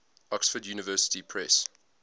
oxford university press